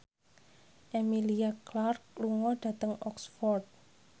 Emilia Clarke lunga dhateng Oxford